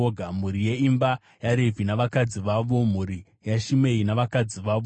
mhuri yeimba yaRevhi navakadzi vavo, mhuri yaShimei navakadzi vavo,